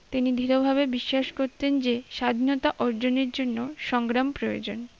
তিনি দৃঢ় ভাবে বিশ্বাস করতেন যে স্বাধীনতা অর্জনের জন্য সংগ্রাম প্রয়োজন